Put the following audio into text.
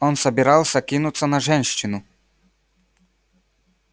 он собирался кинуться на женщину